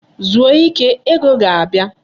Zuo ike! Ego ga-abia.